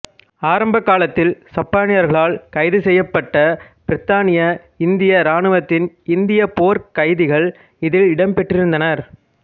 ஆரம்ப காலத்தில் சப்பானியர்களால் கைது செய்யப்பட்ட பிரித்தானிய இந்திய ராணுவத்தின் இந்திய போர்க்கைதிகள் இதில் இடம் பெற்றிருந்தனர்